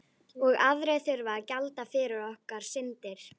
Og aðrir þurfa að gjalda fyrir okkar syndir.